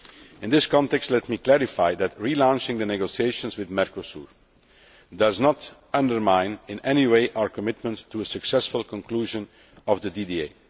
In this context, let me clarify that relaunching the negotiations with Mercosur does not undermine in any way our commitment to a successful conclusion of the DDA.